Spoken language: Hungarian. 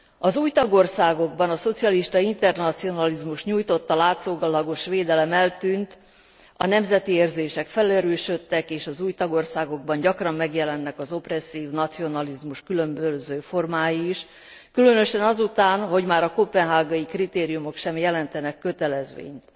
Az új tagországokban a szocialista internacionalizmus nyújtotta látszólagos védelem eltűnt, a nemzeti érzések felerősödtek, és az új tagországokban gyakran megjelennek az opresszív nacionalizmus különböző formái is, különösen azután, hogy már a koppenhágai kritériumok sem jelentenek kötelezvényt.